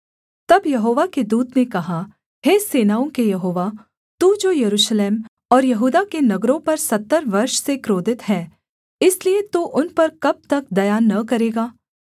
तब यहोवा के दूत ने कहा हे सेनाओं के यहोवा तू जो यरूशलेम और यहूदा के नगरों पर सत्तर वर्ष से क्रोधित है इसलिए तू उन पर कब तक दया न करेगा